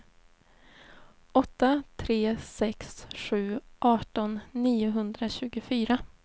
åtta tre sex sju arton niohundratjugofyra